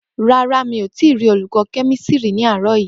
Ràrá mi ò tí rí olùkọ́ kẹ́mísírì ní àárọ̀ yìí.